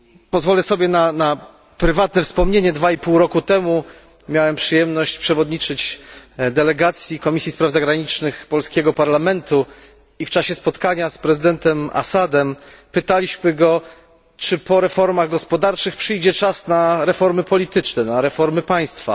Pozwolę sobie na prywatne wspomnienie 2,5 roku temu miałem przyjemność przewodniczyć delegacji Komisji Spraw Zagranicznych Sejmu RP i w czasie spotkania z prezydentem Assadem pytaliśmy go, czy po reformach gospodarczych przyjdzie czas na reformy polityczne, na reformy państwa.